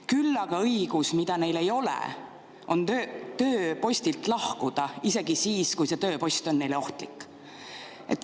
Küll aga õigus, mida neil ei ole, on tööpostilt lahkuda, isegi siis, kui see tööpost on neile ohtlik.